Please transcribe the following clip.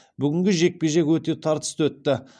бүгінгі жекпе жек өте тартысты өтті